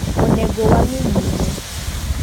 Onego wangi nyime.